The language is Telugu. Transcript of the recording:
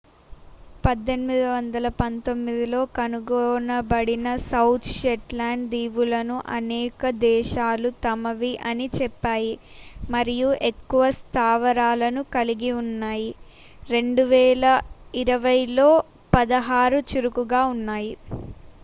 1819లో కనుగొనబడిన సౌత్ షెట్లాండ్ దీవులను అనేక దేశాలు తమవి అని చెప్పాయి మరియు ఎక్కువ స్థావరాలను కలిగి ఉన్నాయి 2020లో పదహారు చురుకుగా ఉన్నాయి